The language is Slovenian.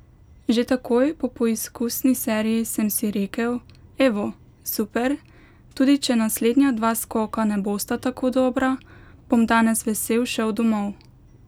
Že takoj po poizkusni seriji sem si rekel, evo, super, tudi če naslednja dva skoka ne bosta tako dobra, bom danes vesel šel domov.